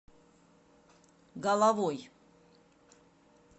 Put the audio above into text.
головой